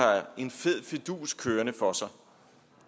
en fed fidus kørende for sig